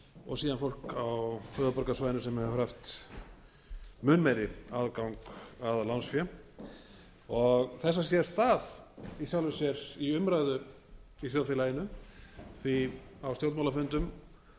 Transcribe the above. og síðan fólk á höfuðborgarsvæðinu sem hefur haft mun meiri aðgang að lánsfé þessa sér stað í sjálfu sér í umræðu í þjóðfélaginu því á stjórnmálafundum